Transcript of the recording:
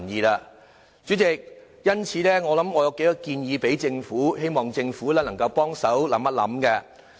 代理主席，我有數個建議，希望政府能夠多作考慮。